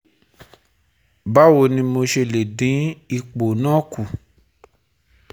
Ba wo ni mo se le din ipo na ku